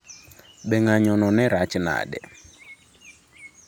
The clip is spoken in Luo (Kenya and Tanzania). Be ng’anjono ne rach nade?